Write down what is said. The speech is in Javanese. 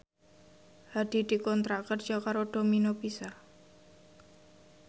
Hadi dikontrak kerja karo Domino Pizza